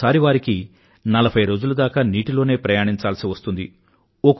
ఒకోసారి నలభై రోజుల దాకా నీటిలోనే ప్రయాణించాల్సి వస్తుంది వారికి